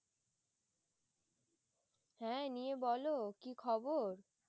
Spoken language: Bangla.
হ্যাঁ নিয়ে বলো কি খবর?